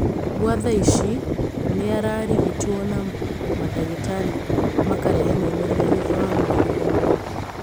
Gwa thaa ici nĩararigitwo na mandagĩtarĩ makarehe maumĩrĩra thutha wa mweri ũmwe